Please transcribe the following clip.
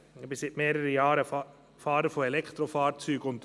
Ich bin seit mehreren Jahren Fahrer von Elektrofahrzeugen.